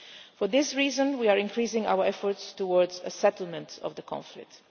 For this reason, we are increasing our efforts towards a settlement of the conflict.